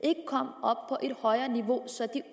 og et højere niveau så de